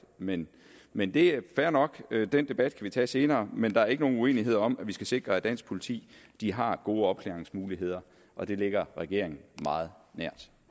men men det er fair nok den debat kan vi tage senere men der er ikke nogen uenighed om at vi skal sikre at dansk politi har gode opklaringsmuligheder og det ligger regeringen meget nært